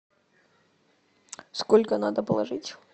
сколько надо положить